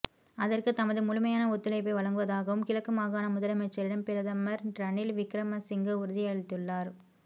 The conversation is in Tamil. அதற்கு தமது முழுமையான ஒத்துழைப்பை வழங்குவதாகவும் கிழக்கு மாகாண முதலமைச்சரிடம் பிரதமர் ரணில் விக்ரமசிங்க உறுதியளித்துள்ளார்